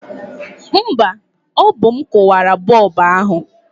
No, ọ bụ m kụwara bọlbụ ahụ